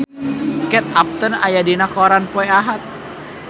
Kate Upton aya dina koran poe Ahad